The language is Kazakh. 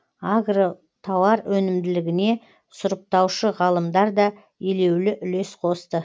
агротауар өнімділігіне сұрыптаушы ғалымдар да елеулі үлес қосты